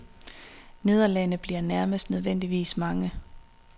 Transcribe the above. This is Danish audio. Nederlagene bliver næsten nødvendigvis mange.